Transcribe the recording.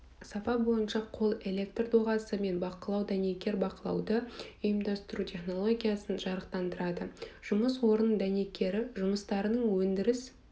сапа бойынша қол электр доғасы мен бақылау дәнекер бақылауды ұйымдастыру технологиясын жарықтандырады жұмыс орнының дәнекері жұмыстарының өндіріс